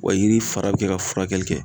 Wa yiri fara be kɛ ka furakɛli kɛ